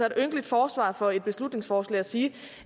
et ynkeligt forsvar for et beslutningsforslag at sige